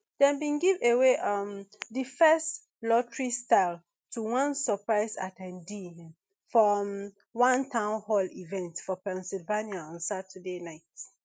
dem bin give away um di first lotterystyle to one surprised at ten dee for um one town hall event for pennsylvania on saturday night